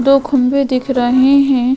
दो खंबे दिख रहे हैं।